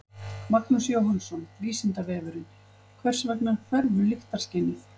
Magnús Jóhannsson: Vísindavefurinn: Hvers vegna hverfur lyktarskynið?